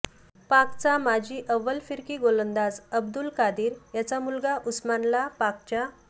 पाकचा माजी अव्वल फिरकी गोलंदाज अब्दुल कादीर याचा मुलगा उस्मानला पाकच्या